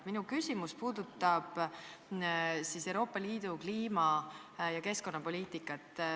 Minu küsimus puudutab Euroopa Liidu kliima- ja keskkonnapoliitikat.